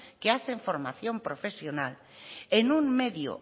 que hacen formación profesional en un medio